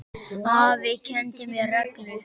Afi kenndi mér reglu.